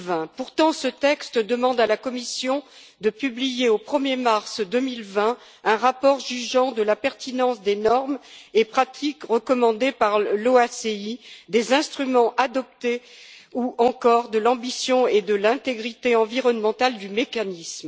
2020. Pourtant, ce texte demande à la Commission de publier, au 1er mars 2020, un rapport jugeant de la pertinence des normes et pratiques recommandées par l'OACI, des instruments adoptés, ou encore de l'ambition et de l'intégrité environnementale du mécanisme.